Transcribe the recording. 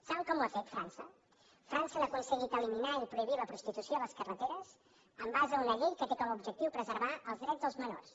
saben com ho ha fet frança a frança han aconseguit eliminar i prohibir la prostitució a les carreteres en base a una llei que té com a objectiu preservar els drets dels menors